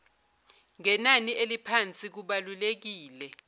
ngenani eliphansi kubalulekile